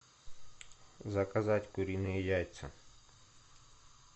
заказать куриные яйца